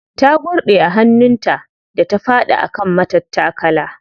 Ta gurɗe a hannun ta da ta faɗi a kan matattakala.